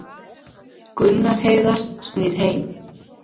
Gunnar Heiðar snýr heim